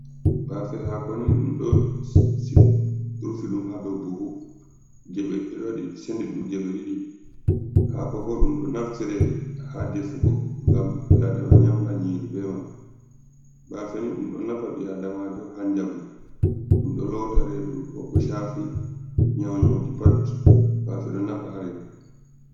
Bàfe hàko ni ɗum ɗo rufi ɗum ha dow buhu je ɓe ɗo waɗi sendi ɗum je ɓe ɗiɗi. Hako bo ɗum ɗo naftirè ha defugo ŋgam ɓi adama nyamra nyîri be man. Bàfe ni ɗum ɗo nafa ɓi àdamàjo ha njamu, ɗum ɗo lota redu, bo ko shafi nyaunyoji pat bafe ɗo nafa ha redu.